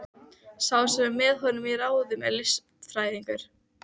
Lög um jarðgufuvirkjun við Kröflu eða